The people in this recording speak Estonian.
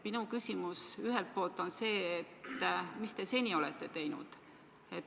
Minu küsimus ühelt poolt on see, et mis te seni olete teinud.